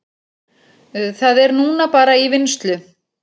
Það er núna bara í vinnslu